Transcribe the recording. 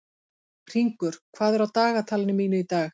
Hringur, hvað er á dagatalinu mínu í dag?